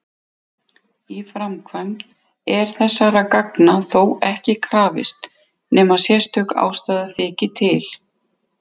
Í framkvæmd er þessara gagna þó ekki krafist nema sérstök ástæða þyki til.